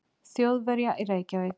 Þjóðverja í Reykjavík.